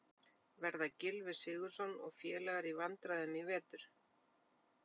Verða Gylfi Sigurðsson og félagar í vandræðum í vetur?